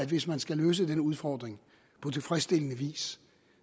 hvis man skal løse denne udfordring på tilfredsstillende vis